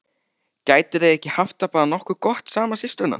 Gætu þær ekki haft það bara nokkuð gott saman, systurnar?